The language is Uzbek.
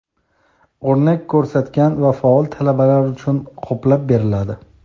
o‘rnak ko‘rsatgan va faol talabalar uchun qoplab beriladi;.